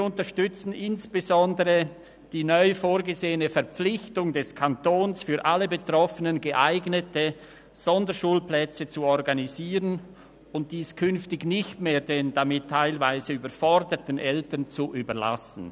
Wir unterstützen insbesondere die neu vorgesehene Verpflichtung des Kantons, für alle Betroffenen geeignete Sonderschulplätze zu organisieren – und dies künftig nicht mehr den damit teilweise überforderten Eltern zu überlassen.